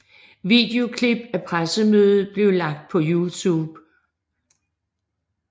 Videoklip af pressemødet blev lagt på Youtube